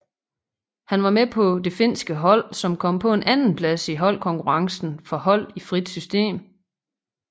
Han var med på det finske hold som kom på en andenplads i holdkonkurrencen for hold i frit system